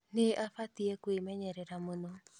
Nĩ abatiĩ kwĩmenyerera mũno